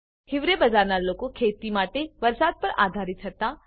હિવરે બજારના લોકો ખેતી માટે વરસાદ પર આધારિત હતા